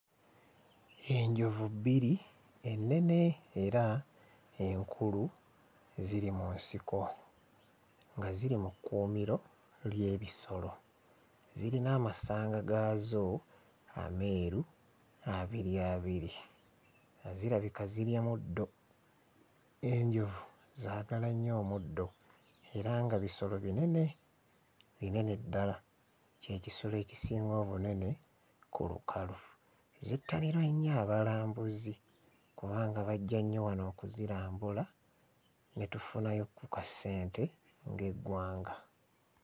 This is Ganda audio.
Enjovu bbiri ennene era enkulu ziri mu nsiko nga ziri mu kkuumiro ly'ebisolo, zirina amasanga gaazo ameeru, abiri abiri nga zirabika zirya muddo, enjovu zaagala nnyo omuddo era nga bisolo binene, binene ddala, kye kisolo ekisinga obunene ku lukalu. Zettanirwa nnyo abalambuzi kubanga bajja nnyo wano okuzirambula ne tufunayo ku kasente ng'eggwanga.